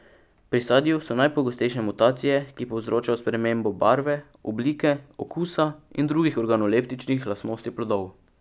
Pri sadju so najpogostejše mutacije, ki povzročajo spremembo barve, oblike, okusa in drugih organoleptičnih lastnosti plodov.